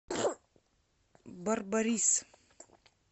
барбарис